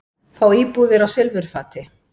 Fá íbúðir á silfurfati